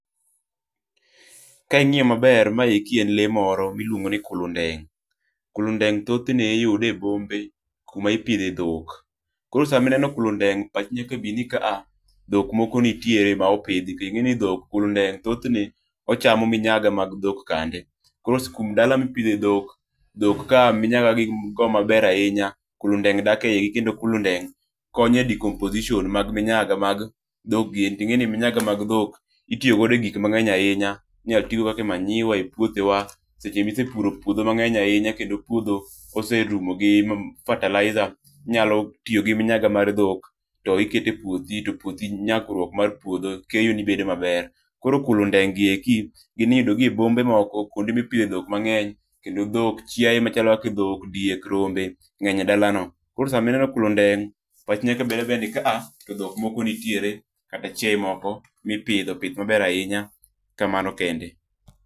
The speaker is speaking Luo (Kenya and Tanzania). Ka ing'iyo maber, maeki en lee moro miluongo ni kulundeng'. Kulundeng' thoth ne iyud e bombe kuma ipidhe dhok. Koro sama ineno kulundeng' pachi nyaka bi ni kaa dhok moko nitiere ma opidhi to ing'eni dhok kulundeng' thoth ne ochamo minyaga mag dhok kande. Koro dala mipidhe dhok, dhok ka minyaga gin go maber ahinya, kulundeng' dak e igi kendo kulundeng' konyo e decomposition mag minyaga mag dhok giendi, to ing'e ni minyaga mag dhok itiyo godo e gik mang'eny ahinya. Inyalo ti godo kaka e manyiwa e puothe wa. Seche misepuro puodho mang'eny ahinya kendo puodho oserumo gi fertilizer, inyalo tiyo gi minyaga mar dhok, to iketo e puothi, to puothi nyakruok mar puodho keyo ni bedo maber. Koro kulundeng' gi eki gin iyudo gi e bombe moko kuonde mipidho e dhok mang'eny kendo dhok chiaye machalo kaka dhok, diek, rombe ng'eny e dala no. Koro sama ineno kulundeng', pachi nyaka bed abeda ni kaa to dhok moko nitiere kata chiaye moko mipidho pith maber ahinya. Kamano kende.